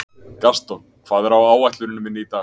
Gaston, hvað er á áætluninni minni í dag?